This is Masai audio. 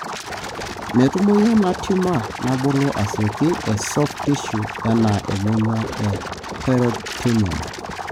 metumoyu ena, tumor nabulu asioki e soft tissue ena emonyua o pritoneum.